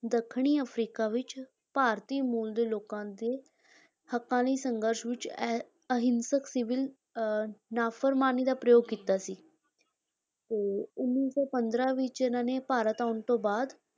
ਦੱਖਣੀ ਅਫਰੀਕਾ ਵਿੱਚ ਭਾਰਤੀ ਮੂਲ ਦੇ ਲੋਕਾਂ ਦੇ ਹੱਕਾਂ ਲਈ ਸੰਘਰਸ਼ ਵਿੱਚ ਅਹਿ ਅਹਿੰਸਕ ਸਿਵਲ ਅਹ ਨਾਫਰਮਾਨੀ ਦਾ ਪ੍ਰਯੋਗ ਕੀਤਾ ਸੀ ਤੇ ਉੱਨੀ ਸੌ ਪੰਦਰਾਂ ਵਿੱਚ ਇਹਨਾਂ ਨੇ ਭਾਰਤ ਆਉਣ ਤੋਂ ਬਾਅਦ